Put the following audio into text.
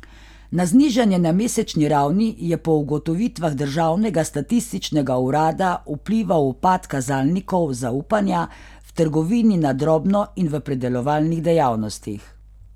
Na znižanje na mesečni ravni je po ugotovitvah državnega statističnega urada vplival upad kazalnikov zaupanja v trgovini na drobno in v predelovalnih dejavnostih.